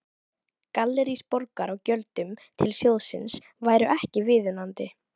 Gallerís Borgar á gjöldum til sjóðsins væru ekki viðunandi.